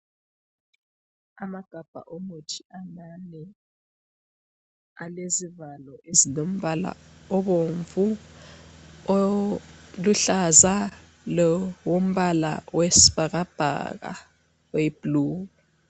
Amagabha omuthi amane ,alezivalo ezilombala ,obomvu ,oluhlaza lowombala wesibhakabhaka oyi blue.